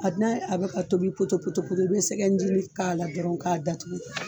A n'a a bɛ ka tobi poto-poto-poto i bɛ sɛgɛ ncinin k'a la dɔrɔn k'a datugu